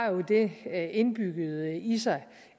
det indbygget i sig